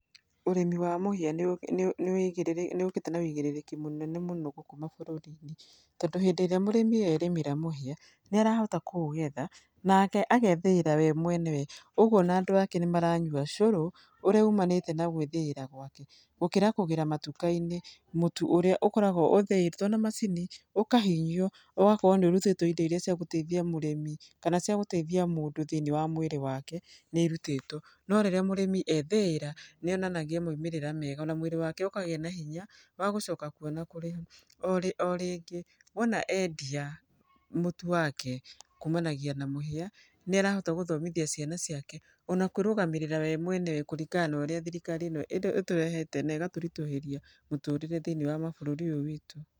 Ũrĩmi wa mũhĩa nĩ ũgĩte na ũigĩrĩrĩki mũnene mũno gũkũ mabũrũri-inĩ, tondũ hĩndĩ ĩrĩa mũrĩmi erĩmĩra mũhĩa, nĩ arahota kũũgetha nake agethĩĩra we mwenyewe ũgũo ona andũ ake nĩ maranyua cũrũ, ũrĩa umanĩte na gũĩthĩira gwake, gũkĩra kũgĩra matuka-inĩ mũtu ũrĩa ũkoragwo ũthĩĩtwo na macini ũkahinyio ona ũgakorwo nĩ ũrutĩtwo indo iria cia gũteithia mũrĩmi, kana indo iria cia gũteithia mũndũ thĩiniĩ wa mũĩrĩ wake nĩ irutĩtwo. No rĩrĩa mũrĩmi ethĩĩra, nĩ onanagia maumĩrĩra mega ona mwĩrĩ wake ũkagĩa na hinya wa gũcoka kuo na kũrĩma. Orĩngĩ, wona endia mũtu wake kumanagia na mũhĩa, nĩarahota gũthomithia ciana ciake ona kũĩrũgamĩrĩra we mwenyewe kũringana na ũrĩa thirikari ĩno ĩtũrehete na ĩgatũritũhĩria mũtũrĩre thĩiniĩ wa mabũrũri ũyũ witũ.